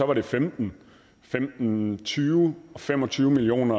var det femten femten tyve og fem og tyve million